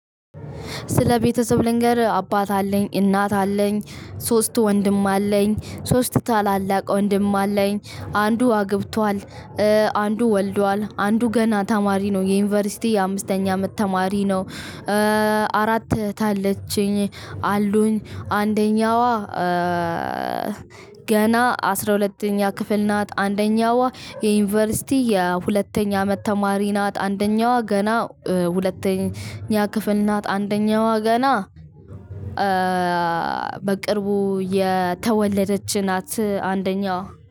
ስለ ቤተሰብ ልንገርህ አባት አለኝ እናት አለኝ ሶስት ወንድም አለኝ ሶስት ታላላቅ ወንድም አለኝ አንዱ አግብቷል። አንዱ ወልዷል አንዱ ገና ተማሪ ነው። የዩኒቨርስቲ የአምስተኛ አመት ተማሪ ነው። እ አራት እህት አለችኝ አሉኝ አንደኛዋ ገና አስራ ሁለተኛ ክፍል ናት። አንደኛዋ የዩኒቨርሲቲ የሁለተኛ አመት ተማሪ ናት። አንደኛዋ ገና ሁለተኛ ክፍል ናት። አንደኛዋ ገና በቅርቡ የተወለደች ናት አንደኛዋ